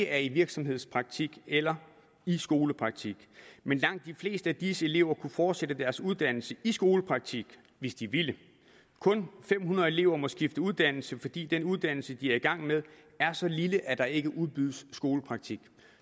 er i virksomhedspraktik eller skolepraktik men langt de fleste af disse elever kunne fortsætte deres uddannelse i skolepraktik hvis de ville kun fem hundrede elever må skifte uddannelse fordi den uddannelse de er i gang med er så lille at der ikke udbydes skolepraktik